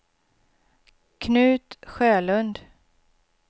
Knut Sjölund